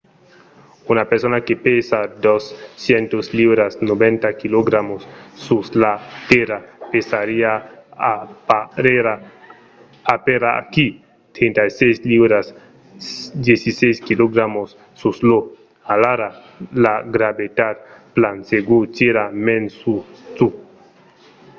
una persona que pesa 200 liuras 90kg sus la tèrra pesariá aperaquí 36 liuras 16kg sus io. alara la gravetat plan segur tira mens sus tu